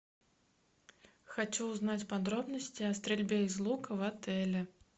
хочу узнать подробности о стрельбе из лука в отеле